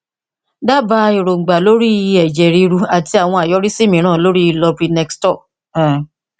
dábàá èròǹgbà lórí i ẹjẹ ríru àti àwọn àyọrísí mìíràn ti loprinextor um